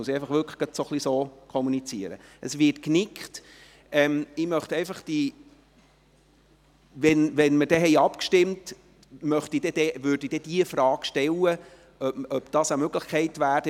– Nachdem wir abgestimmt haben, werde ich die Frage stellen, ob das eine Möglichkeit wäre.